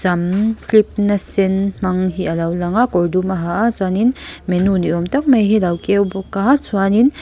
sam clip na sen hmang hi a lo langa kawr dum a ha a chuanin menu ni awm tak mai hi alo keu bawka chuanin--